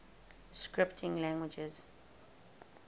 scripting languages